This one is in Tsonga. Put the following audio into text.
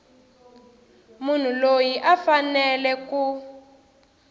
munhu loyi a faneleke ku